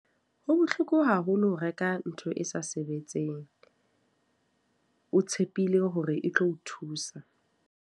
Ho bohloko haholo ho reka ntho e sa sebetseng, o tshepile hore e tlo o thusa.